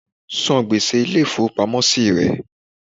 San gbèsè Ilé ìfowópamọ́ sí re